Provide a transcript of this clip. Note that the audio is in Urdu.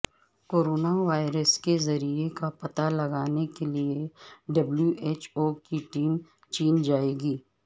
کورونا وائرس کے ذریعہ کا پتہ لگانے کیلئے ڈبلیو ایچ او کی ٹیم چین جائیگی